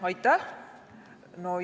Aitäh!